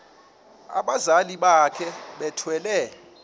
abazali bakhe bethwele